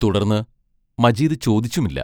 തുടർന്ന് മജീദ് ചോദിച്ചുമില്ല.